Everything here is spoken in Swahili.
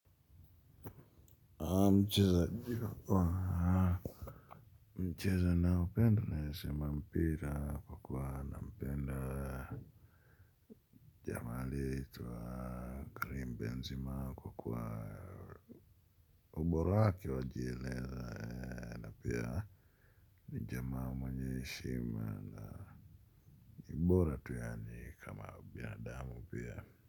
Mchezo naupenda naweza sema mpira kwa kuwa naupenda. Jamaa aliyeitwa Karim Benzema kwa kuwa ubora wake wajieleza. Pia ni jamaa mwenye heshima na ni bora tu yaani kama binadamu pia.